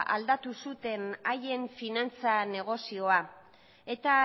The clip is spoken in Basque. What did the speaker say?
aldatu zuten haien finantza negozioa eta